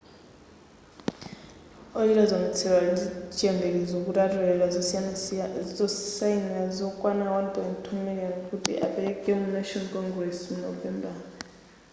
ochita ziwonetsero ali ndiyembekezo kuti atolera zosayinira zokwana 1.2 miliyoni kuti akapereke ku national congress mu novembala